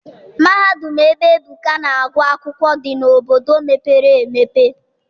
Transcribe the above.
Mahadum ebe Ebuka na-agụ akwụkwọ dị n'obodo mepere emepe.